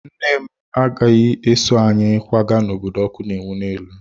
Nne m agaghị eso anyị kwaga n'obodo ọkụ na-enwu n'elu.